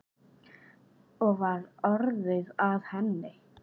Og var orðið að henni?